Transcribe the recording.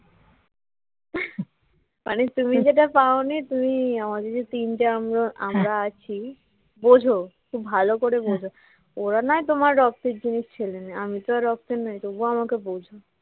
মানে তুমি যেতে পাওনি তুমি আমাদের যে তিনটি আমরা আছি বোঝো খুব ভালো করে বোঝো ওরা নয় তোমার রক্তের জিনিস ছেলে মেয়ে আমি তো আর রক্তের নই তবুও আমাকে বোঝো